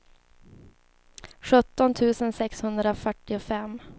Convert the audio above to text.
sjutton tusen sexhundrafyrtiofem